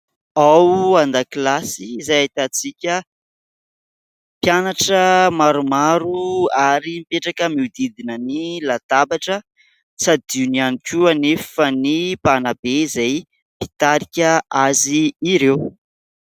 Ao an-dakilasy izay ahitantsika mpianatra maromaro ary mipetraka mihodidina ny latabatra, tsy adino ihany koa anefa ny mpanabe izay mpitarika azy ireo.